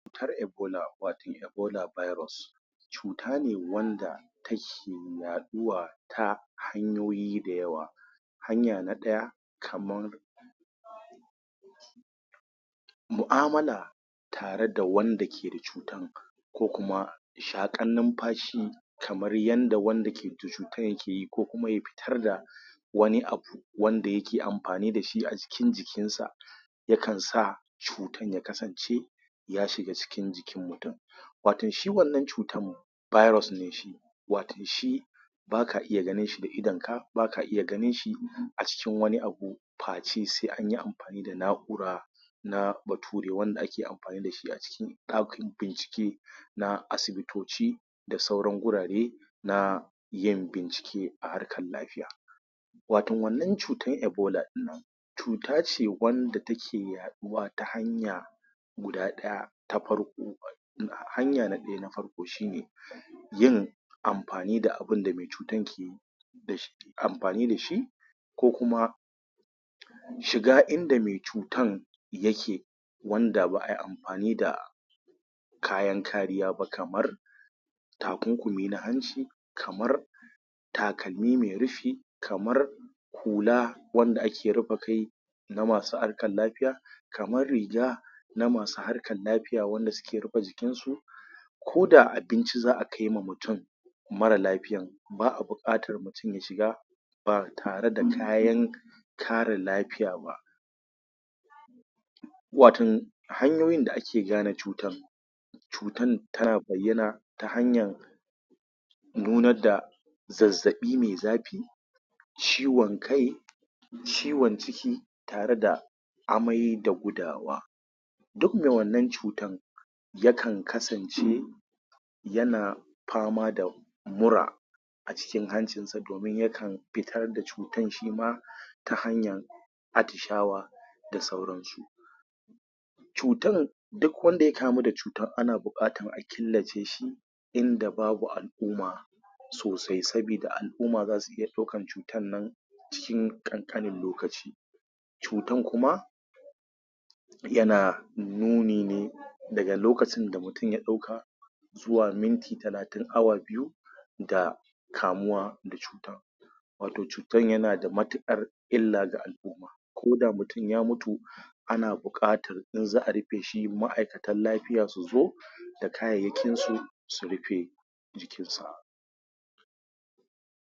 Cutar ebola wato ebola virus cut ane wanda take yaɗuwa ta hanyoyi da yawa. Hanya na ɗaya kaman mu'amala da tare da wanda ke da cutan, ko kuma shaƙan numfashi kamar yanda wanda ke da cutan yake ko kuma ya fitrda wani abu wanda yake amfani da shi a cikin jikinsa yakansa cutan ya kasance ya shiga cikin jikin mutum waton shi wannan cutan virus ne shi waton shi ba ka iya ganin shi da idonka ba ka iya ganin shi cikin wani abu face sai an yi amfani da na'ura na bature wanda a ke amfani da shi a cikin ɗakin bincike na asibitici da sauran gurare na yin bincike a harkar lafiya. waton wannan cutan ebola ɗin nan cuta ce wadda take yaɗuwa ta hanyar guda ɗaya ta farko. Hanya na ɗaya na farko yin amfani da mai cutan ke yi da shi ke amfani da shi ko kuma shiga inda mai cutan yake wanda ba ai amfani da kayan kariya ba kamar takunkumi na hanci kamar takalmi mai rufi kamar hula wadda ake rufe kai na masu harkar lafiya kamar riga na masu harkar lafiya wadda suke rufe jikinsu ko da abinci za a kaiwa mutum mara lafiyan ba a buƙatar mutum ya shiga ba tare kayan kare lafiya ba waton hanyoyin da ake gane cutan, cutan tana bayyana ta hanyar bayyanar da zazzaɓi mai zafi, ciwon kai, ciwon ciki tare da amai da gudawa duk mai wannan cutan yakan kasance yana fama da mura a cikin hancinsa domin yakan fitar da cutar shi ma ta hanyar atisahwa da sauransu. cutan duk wanda ya kamu da cutan ana buƙatan a killace shi inda babu al'umma. sosai saboda al'umma za su iya ɗaukan cutan nan cikin ƙanƙanin lokaci, cutan kuma yana nuni ne daga lokacin da mutum ya ɗauka zuwa minti talatin awa biyu daga kamuwa da cutan wato cuytan yana da matuƙan illa ga al'umma ko da mutum ya mutu ana buƙatan in za rufe shi ma'aikatan lafiya su zo da kayayyakin su su rufe jikinsu.